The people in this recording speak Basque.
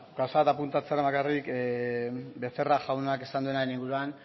beno ba gauza bat apuntatzearren bakarrik becerra jaunak esan duenaren inguruan